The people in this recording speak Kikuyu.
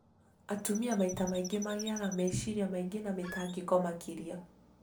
Atumia maita maingĩ magĩaga meciria maingĩ na mĩtangĩko makĩria